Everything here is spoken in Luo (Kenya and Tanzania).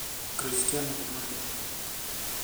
Cristiano Ronaldo.